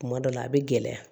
Kuma dɔ la a bɛ gɛlɛya